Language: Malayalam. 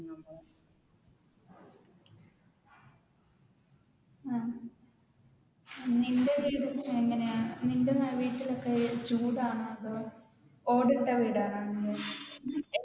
ആഹ് നിന്റെ വീട് എങ്ങനെയാ നിന്റെ വീട്ടിൽ എപ്പഴും ചൂടാണോ അതോ അതോ ഓട് ഇട്ട വീടാണോ നിന്റെ?